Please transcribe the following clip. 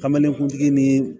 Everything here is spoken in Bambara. Kameleni kuntigi ni